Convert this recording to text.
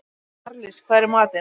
Marlís, hvað er í matinn?